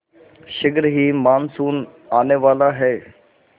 शीघ्र ही मानसून आने वाला है